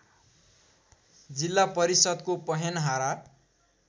जिल्ला परिषद्को पहेनहारा